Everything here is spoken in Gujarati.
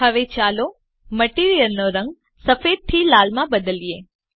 હવે ચાલો મટીરીઅલ નો રંગ સફેદથી લાલમાં બદલીએ